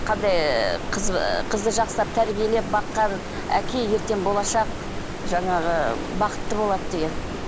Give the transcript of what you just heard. қандай ы қыз ыыы қызды жақсылап тәрбиелеп баққан әке ертең болашақ жаңағы бақытты болады деген